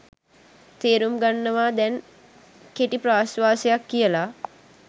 තේරුම් ගන්නව දැන් කෙටි ප්‍රාශ්වාසයක් කියල